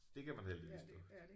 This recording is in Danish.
Det kan man heldigvis dufte